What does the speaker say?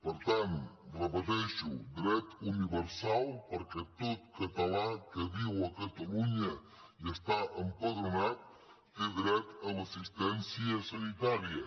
per tant ho repeteixo dret universal perquè tot català que viu a catalunya i hi està empadronat té dret a l’assistència sanitària